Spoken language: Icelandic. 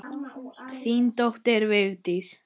Þín dóttir, Vigdís.